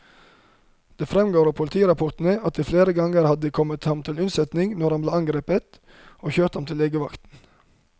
Det fremgår av politirapportene at de flere ganger hadde kommet ham til unnsetning når han ble angrepet, og kjørt ham til legevakten.